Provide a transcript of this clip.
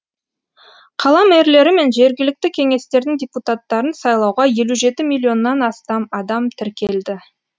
қала мэрлері мен жергілікті кеңестердің депутаттарын сайлауға елу жеті миллионнан астам адам тіркелді